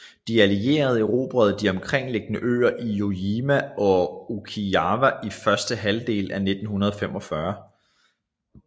De allierede erobrede de omkringliggende øer Iwo Jima og Okinawa i første halvdel af 1945